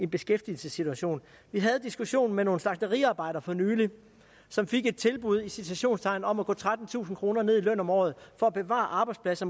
beskæftigelsessituation vi havde diskussionen med nogle slagteriarbejdere for nylig som fik et tilbud i citationstegn om at gå trettentusind kroner ned i løn om året for at bevare arbejdspladser